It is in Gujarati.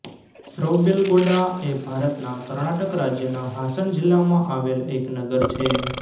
શ્રવબેલગોડા એ ભારતના કર્ણાટક રાજ્યના હાસન જિલ્લામાં આવેલ એક નગર છે